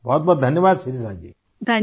بہت بہت شکریہ! شریشا جی